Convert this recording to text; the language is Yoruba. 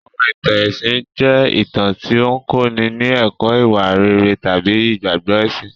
Àwọn ìtàn ẹ̀sìn jẹ́ ìtàn tí ó ń kọ́ni ní ẹ̀kọ́ ìwà rere tàbí ìgbàgbọ́ ẹ̀sìn.